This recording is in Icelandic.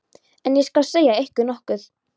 En ég skal segja ykkur nokkuð.